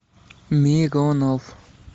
миронов